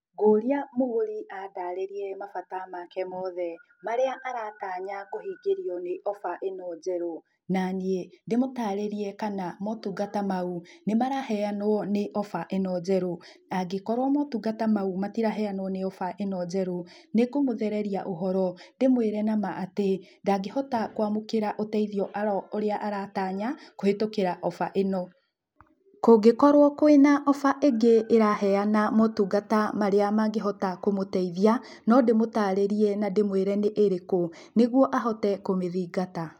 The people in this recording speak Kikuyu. Ngũria mũgũri andarĩrie mabata make mothe marĩa aratanya kũhingĩrio nĩ offer ĩno njerũ naniĩ ndĩmũtarĩrie kana motungata mau nĩmaraheanwo nĩ offer ĩno njerũ angĩkrwo motungata mau matiraheanwo nĩ ofa ĩno njerũ nĩngũmũthereria ũhoro ndĩmwĩre nama atĩ ndangĩhota kwamũkĩra ũteithi ũrĩa aratanya kũhĩtũkĩra offer ĩno. Kũngĩkorwo kwĩna offer ĩngĩ ĩraheana motungata marĩa mangĩhota kũmũteithia no ndĩmũtarĩrie na ndĩmwĩre nĩ ĩrĩkũ nĩgũo ahote kũmĩthingata.